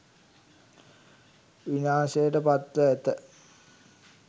විනාශයට පත් ව ඇත